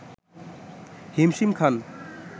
হিমশিম খান